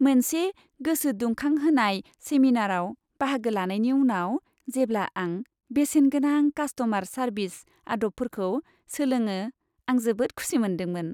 मोनसे गोसोदुंखांहोनाय सेमिनारआव बाहागो लानायनि उनाव, जेब्ला आं बेसेनगोनां कासट'मार सारभिस आद'बफोरखौ सोलोङो आं जोबोद खुसि मोनदोंमोन।